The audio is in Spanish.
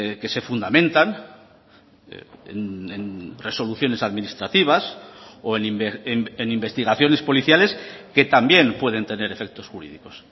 que se fundamentan en resoluciones administrativas o en investigaciones policiales que también pueden tener efectos jurídicos